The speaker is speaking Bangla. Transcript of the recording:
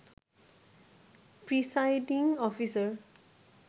presiding officer